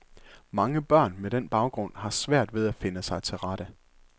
Mange børn med den baggrund har svært ved at finde sig til rette.